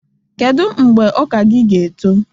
Kedu mgbe ọka gị ga-eto?